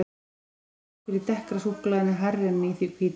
Þó er styrkurinn í dekkra súkkulaðinu hærri en í því hvíta.